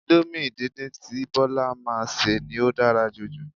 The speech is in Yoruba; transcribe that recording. Índómì díndín tí Bola máa ń ṣe ni ó dára jj